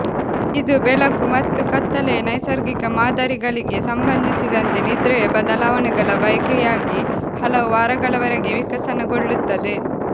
ಇದು ಬೆಳಕು ಮತ್ತು ಕತ್ತಲೆಯ ನೈಸರ್ಗಿಕ ಮಾದರಿಗಳಿಗೆ ಸಂಬಂಧಿಸಿದಂತೆ ನಿದ್ರೆಯ ಬದಲಾವಣೆಗಳ ಬಯಕೆಯಾಗಿ ಹಲವು ವಾರಗಳವರೆಗೆ ವಿಕಸನಗೊಳ್ಳುತ್ತದೆ